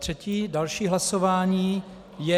Třetí, další hlasování je -